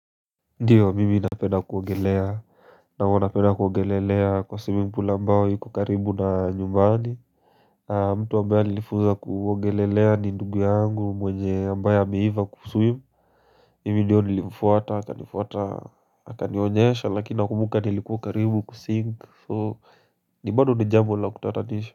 Ndiyo mimi napenda kuogelea, na huwa napenda kuogelelea kwa swimming pool ambao iko karibu na nyumbani mtu ambaye alinifunza kuogelelea ni ndugu yangu mwenye ambaye ameiva kuswim Mimi ndiyo nilimfuata, akatufuata, akanionyesha lakini nakumbuka nilikuwa karibu kusink So, ni bado ni jambo la kutatanisha.